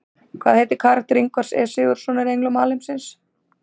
Hvað heitir karakter Ingvars E Sigurðssonar í Englum alheimsins?